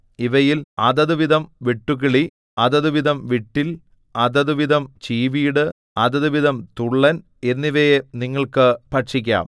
ഇവയിൽ അതത് വിധം വെട്ടുക്കിളി അതത് വിധം വിട്ടിൽ അതത് വിധം ചീവീട് അതത് വിധം തുള്ളൻ എന്നിവയെ നിങ്ങൾക്ക് ഭക്ഷിക്കാം